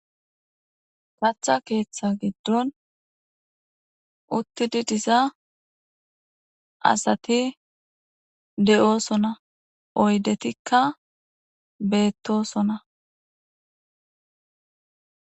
Katha ketha giidon utidiza asati de'osona oyidetika betosona .